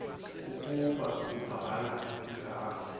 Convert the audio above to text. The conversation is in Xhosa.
ukuba ubhala igama